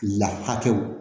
La hakɛw